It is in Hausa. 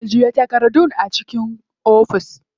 Ajiye takardun a ciki.